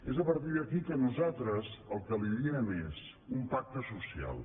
és a partir d’aquí que nosaltres el que li diem és un pacte social